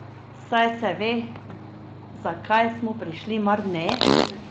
Saj se ve, zakaj smo prišli, mar ne!